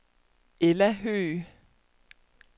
Ella Høgh